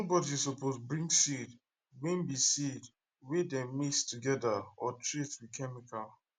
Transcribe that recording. nobody suppose bring seed wey be seed wey dem mix together or treat with chemical